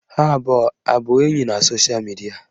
Ha abụọ abụ enyi na sosha midia?